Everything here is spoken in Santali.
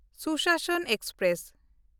ᱥᱩᱥᱟᱥᱚᱱ ᱮᱠᱥᱯᱨᱮᱥ